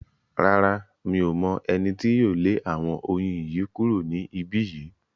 Rárá, Mi ò mọ̀ ẹni tí yóò lé àwọn oyin yìí kúrò ní ibí yìí